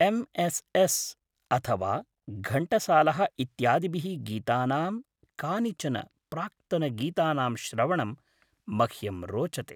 MSS. S S घण्टसालः इत्यादिभिः गीतानां कानिचन प्राक्तनगीतानां श्रवणं मह्यं रोचते।